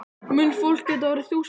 Mun fólk geta orðið þúsund ára?